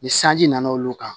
Ni sanji nana olu kan